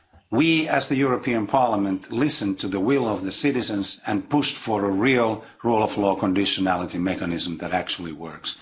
We, as the European Parliament, listened to the will of the citizens and pushed for a real rule of law conditionality mechanism that actually works.